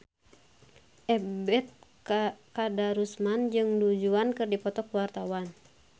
Ebet Kadarusman jeung Du Juan keur dipoto ku wartawan